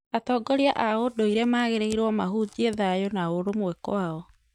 Atongoria a ũndũire magĩrĩirwo mahunjie thaayũ na ũrumwe kwao